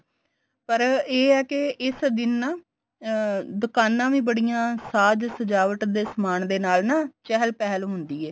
ਪਰ ਇਹ ਏ ਕੇ ਇਸ ਦਿਨ ਨਾ ਅਹ ਦੁਕਾਨਾ ਵੀ ਬੜੀਆਂ ਸਾਜ ਸਜਾਵਟ ਦੇ ਸਮਾਨ ਦੇ ਨਾਲ ਨਾ ਚਹਿਲ ਪਹਿਲ ਹੁੰਦੀ ਏ